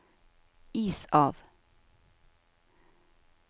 is av